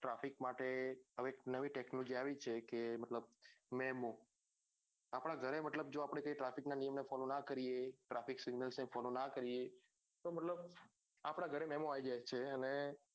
traffic માટે હવે એક નવી technology આવી છે કે મતલબ મેમો આપડા ઘરે મતલબ જો અપડે કઈ traffic ના નિયમ ને follow ના કરીએ traffic signals ને follow ના કરીએ આપડા ગરે મેમો આવી જાય છે